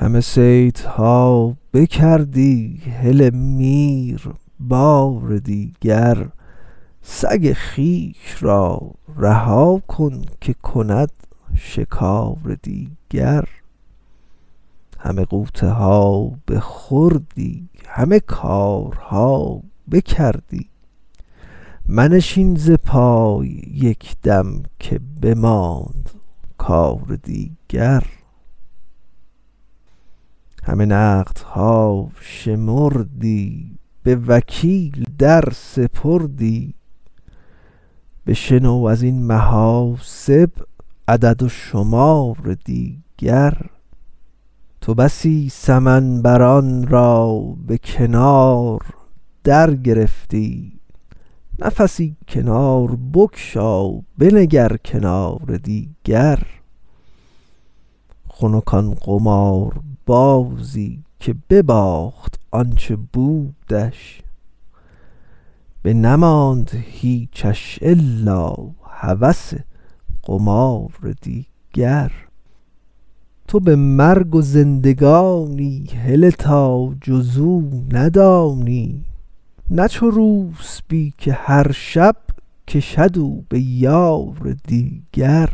همه صیدها بکردی هله میر بار دیگر سگ خویش را رها کن که کند شکار دیگر همه غوطه ها بخوردی همه کارها بکردی منشین ز پای یک دم که بماند کار دیگر همه نقدها شمردی به وکیل در سپردی بشنو از این محاسب عدد و شمار دیگر تو بسی سمن بران را به کنار درگرفتی نفسی کنار بگشا بنگر کنار دیگر خنک آن قماربازی که بباخت آ ن چه بودش بنماند هیچش الا هوس قمار دیگر تو به مرگ و زندگانی هله تا جز او ندانی نه چو روسپی که هر شب کشد او به یار دیگر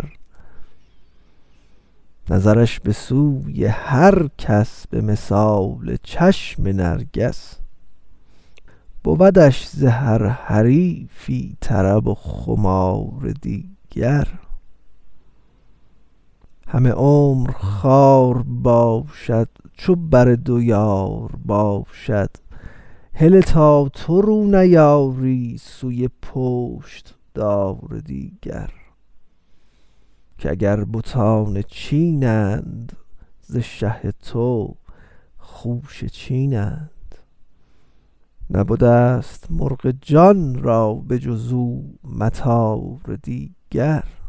نظرش به سوی هر کس به مثال چشم نرگس بودش ز هر حریفی طرب و خمار دیگر همه عمر خوار باشد چو بر دو یار باشد هله تا تو رو نیاری سوی پشت دار دیگر که اگر بتان چنین اند ز شه تو خوشه چینند نبده ست مرغ جان را به جز او مطار دیگر